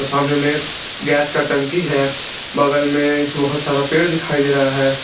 सामने में गैस का टंकी है बगल में बहुत सारा पेड़ दिखाई दे रहा है।